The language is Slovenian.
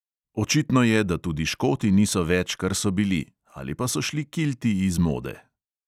Očitno je, da tudi škoti niso več, kar so bili, ali pa so šli kilti iz mode.